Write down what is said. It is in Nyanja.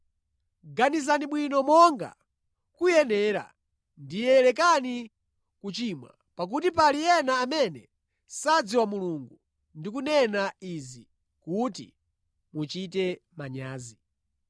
Ganizani bwino monga kuyenerera, ndiye lekani kuchimwa; pakuti pali ena amene sadziwa Mulungu. Ndikunena izi kuti muchite manyazi.